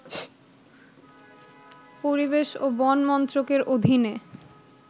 পরিবেশ ও বন মন্ত্রকের অধীনে